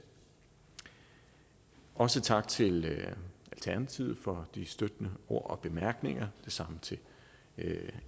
også tak til alternativet for de støttende ord og bemærkninger det samme til